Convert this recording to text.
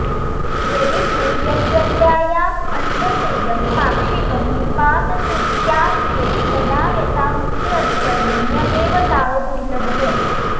यदि तु यत्प्रत्ययान्तस्येदं पाक्षिकं निपातनमित्याश्रीयेत तदा यता मुक्तेऽधिकरणे ण्यदेव तावद्दुर्लभः